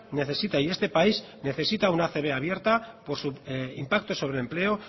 necesita y este país necesita una acb abierta por su impacto sobre empleo